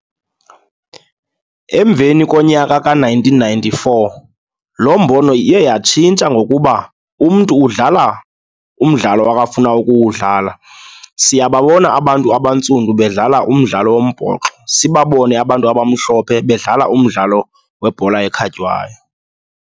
Emveni konyaka ka-nineteen ninety-four, loo mbono iye yatshintsha ngokuba umntu udlala umdlalo akafuna ukuwudlala. Siyababona abantu abantsundu bedlala umdlalo wombhoxo, sibabone abantu abamhlophe bedlala umdlalo webhola ekhatywayo.